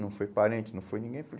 Não foi parente, não foi ninguém.